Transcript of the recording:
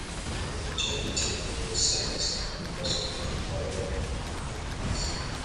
I dey enjoy eating at roadside restaurants because of their correct and affordable meals.